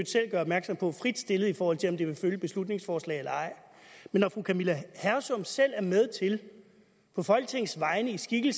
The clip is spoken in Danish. selv gør opmærksom på fritstillet i forhold til om den vil følge et beslutningsforslag eller ej men når fru camilla hersom selv er med til på folketingets vegne i sin